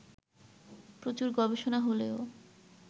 প্রচুর গবেষণা হলেও